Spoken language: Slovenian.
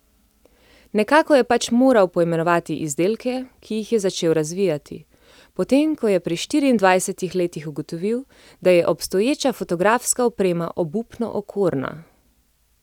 Nekako je pač moral poimenovati izdelke, ki jih je začel razvijati, potem ko je pri štiriindvajsetih letih ugotovil, da je obstoječa fotografska oprema obupno okorna.